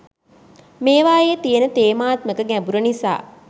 මේවායේ තියෙන තේමාත්මක ගැඹුර නිසා.